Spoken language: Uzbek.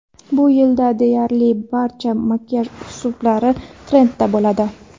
Bu yilda deyarli barcha makiyaj uslublari trendda bo‘ladi.